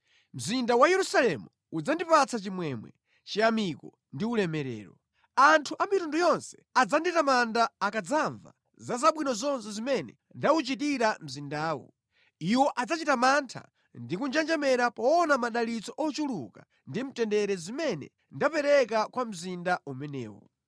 Mzinda wa Yerusalemu udzandipatsa chimwemwe, chiyamiko ndi ulemerero. Anthu a mitundu yonse adzanditamanda akadzamva za zabwino zonse zimene ndawuchitira mzindawu. Iwo adzachita mantha ndi kunjenjemera poona madalitso ochuluka ndi mtendere zimene ndapereka kwa mzinda umenewu.’